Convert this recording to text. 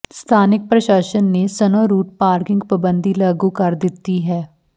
ਸਥਾਨਕ ਪ੍ਰਸ਼ਾਸਨ ਨੇ ਸਨੋ ਰੂਟ ਪਾਰਕਿੰਗ ਪਾਬੰਦੀ ਲਾਗੂ ਕਰ ਦਿੱਤੀ ਹੈ